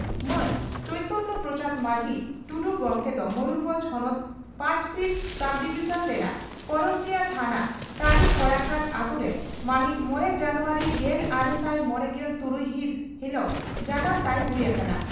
ᱢᱟᱱ ᱪᱚᱭᱛᱚᱱᱭᱚ ᱯᱨᱚᱥᱟᱫᱽ ᱢᱟᱹᱡᱷᱤ (ᱴᱩᱰᱩ) ᱜᱚᱢᱠᱮ ᱫᱚ ᱢᱚᱭᱩᱨᱵᱷᱚᱸᱡᱽ ᱦᱚᱱᱚᱛ ᱯᱟᱸᱪᱯᱤᱲ ᱥᱚᱵᱰᱤᱵᱷᱤᱡᱚᱱ ᱨᱮᱱᱟᱜ ᱠᱚᱨᱚᱧᱡᱤᱭᱟᱹ ᱛᱷᱟᱱᱟ ᱛᱟᱹᱨᱤ ᱠᱚᱲᱟᱠᱟᱫᱚ ᱟᱹᱛᱩᱨᱮ ᱢᱟᱦᱤᱛ ᱢᱚᱲᱮ ᱡᱟᱱᱩᱣᱟᱨᱤ ᱜᱮᱞᱟᱨᱮᱥᱟᱭ ᱢᱚᱲᱮᱜᱮᱞ ᱛᱩᱨᱩᱭ ᱦᱤᱛ ᱦᱤᱞᱚᱜ ᱡᱟᱱᱟᱢ ᱛᱟᱭ ᱦᱩᱭ ᱟᱠᱟᱱᱟ ᱾